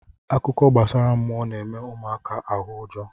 Akụkọ gbasara mmụọ na-eme ụmụaka ahụ ụjọ.